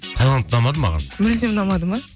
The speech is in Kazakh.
тайланд ұнамады маған мүлдем ұнамады ма